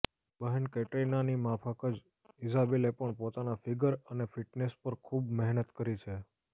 બહેન કેટરિનાની માફક જ ઇઝાબેલે પણ પોતાના ફિગર અને ફિટનેસ પર ખૂબ મહેનત કરી છે